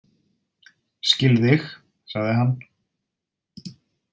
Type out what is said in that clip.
Skil þig, sagði hann.